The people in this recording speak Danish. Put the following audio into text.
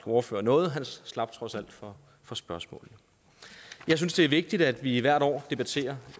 ordfører noget han slap trods alt for for spørgsmålet jeg synes det er vigtigt at vi hvert år debatterer